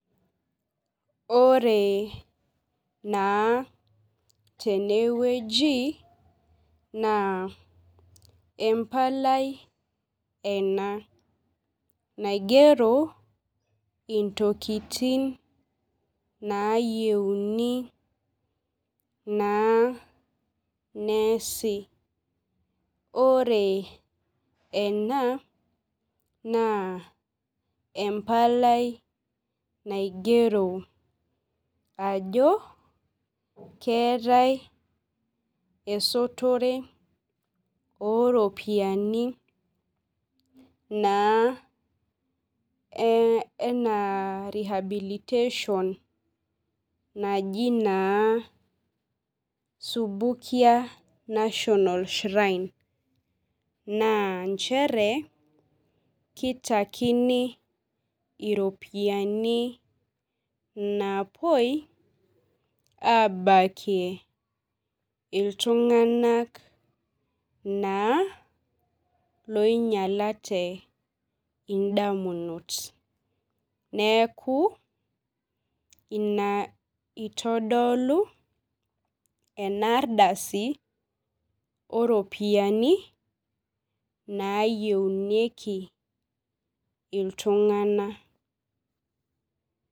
Ore naa tenewueji na embalai ena naigiero ntokitin nayieuni na neesi ore ena na empalai naigero ajo keetae esotorw oropiyiani naa ena rehabilitation naji na subukii national shrine na nchere kitakini ropiyani napuo abaki iltunganak na loinyalate ndamunot neaku ina itodolu enaardasi oropiyani nayiaunyeki ltunganak.